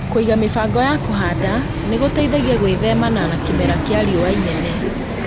Kũiga mĩbango ya kũhanda nĩgũteithagia gwĩthemana na kĩmera kĩa riũa inene